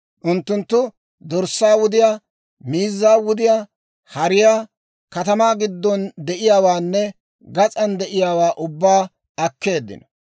Unttunttu dorssaa wudiyaa, miizzaa wudiyaa, hariyaa, katamaa giddon de'iyaawaanne gas'an de'iyaawaa ubbaa akkeeddino.